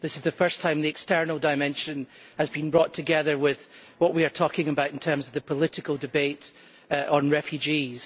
This is the first time that the external dimension has been brought together with what we are talking about in terms of the political debate on refugees.